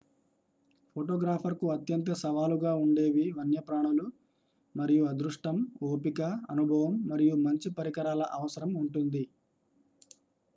ఫోటోగ్రాఫర్కు అత్యంత సవాలుగా ఉండేవి వన్యప్రాణులు మరియు అదృష్టం ఓపిక అనుభవం మరియు మంచి పరికరాల అవసరం ఉంటుంది